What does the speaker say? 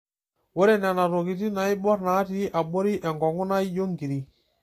Ore nena tokitin naiborr natii aboti enkongu naa ijo nkiri.